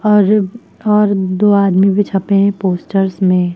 और दो आदमी भी छपे हैं पोस्टर्स में।